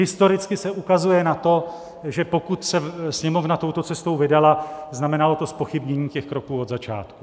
Historicky se ukazuje na to, že pokud se Sněmovna touto cestou vydala, znamenalo to zpochybnění těch kroků od začátku.